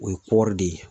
O ye kɔɔri de ye